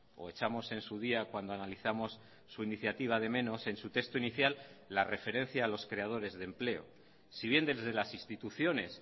o echamos en su día cuando analizamos su iniciativa de menos en su texto inicial la referencia a los creadores de empleo si bien desde las instituciones